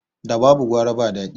Da babu gwara ba dadi